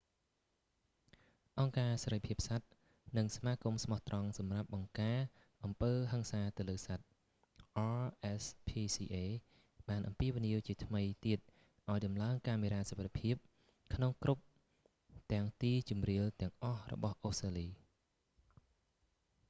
អង្គការសេរីភាពសត្វ និងសមាគមស្មោះត្រង់សម្រាប់បង្ការអំពើហឹង្សាទៅលើសត្វ rspca បានអំពាវនាវជាថ្មីទៀតឱ្យតម្លើងកាមេរ៉ាសុវត្ថិភាពក្នុងគ្រប់ទាំងទីជម្រាលទាំងអស់របស់អូស្ត្រាលី